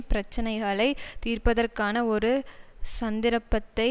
பிரச்சினைகளைத் தீர்ப்பதற்கான ஒரு சந்திரப்பத்தை